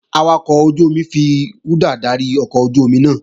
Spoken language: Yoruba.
Awakọ̀ ojú-omi náà fi rúdà dárí ọkọ̀ ojú-omi náà